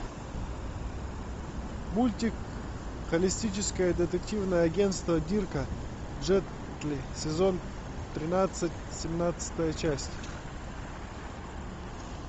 мультик холистическое детективное агентство дирка джентли сезон тринадцать семнадцатая часть